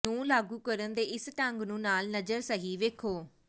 ਨੂੰ ਲਾਗੂ ਕਰਨ ਦੇ ਇਸ ਢੰਗ ਨੂੰ ਨਾਲ ਨਜ਼ਰ ਸਹੀ ਵੇਖੋ